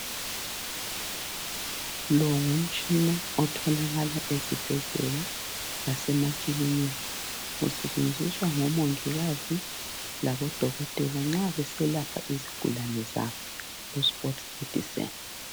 Lo ngumtshina otholakala ezibhedlela lasemakilinika, usetshenziswa ngomongikazi labodokotela nxa beselapha izigulane zabo ku sport medicine.